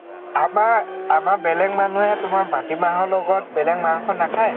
আমাৰ আমাৰ বেলেগ মানুহে তোমাৰ মাটি মাহৰ লগত বেকেগ মাংস নাখায়ে